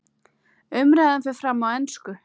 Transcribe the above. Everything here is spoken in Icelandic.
Umræðan fer fram á ensku.